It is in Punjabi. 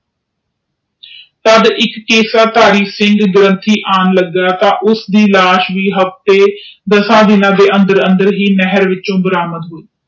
ਤਦ ਇਕ ਐਸ਼ ਧਾਰੀ ਸਿਖਾਂ ਲਗਾ ਤਾ ਓਹਦੇ ਲਾਸ਼ ਵੀ ਹਫਤੇ ਦਾਸ ਦੀਨਾ ਵਿੱਚੋ ਓਥੇ ਨਹਿਰ ਚ ਪ੍ਰਾਪਤ ਹੋਈ